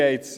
der BaK.